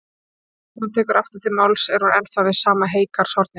En þegar hún tekur aftur til máls er hún ennþá við sama heygarðshornið.